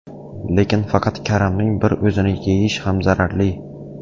Lekin faqat karamning bir o‘zini yeyish ham zararli.